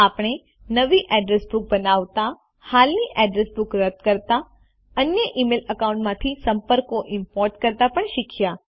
આપણે નવી address book બનાવતા હાલની અડ્રેસ બુક રદ કરતા અન્ય ઇમેઇલ એકાઉન્ટ્સ માંથી સંપર્કો ઈમ્પોર્ટ કરતા પણ શીખ્યા